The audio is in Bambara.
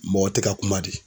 Mɔgɔ te ka kuma de.